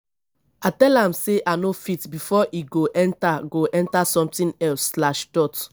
i tell am say i no fit before e go enter go enter something else slash dot